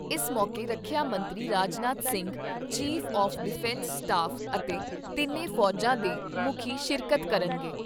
ਇਸ ਮੌਕੇ ਰੱਖਿਆ ਮੰਤਰੀ Rajnath Singh, chief of defence staff ਅਤੇ ਤਿੰਨੇ ਫੌਜਾਂ ਦੇ ਮੁੱਖੀ ਸ਼ਿਰਕਤ ਕਰਨਗੇ।